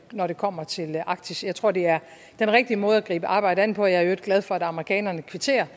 når det kommer til arktis jeg tror det er den rigtige måde at gribe arbejdet an på og jeg er glad for at amerikanerne kvitterer